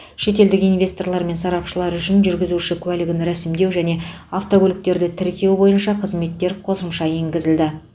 шетелдік инвесторлар мен сарапшылар үшін жүргізуші куәлігін рәсімдеу және автокөліктерді тіркеу бойынша қызметтер қосымша енгізілді